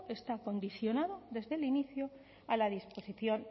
está condicionado desde el inicio a la disposición